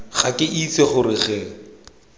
ga ke itse gore re